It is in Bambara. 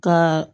Ka